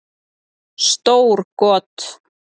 Stór got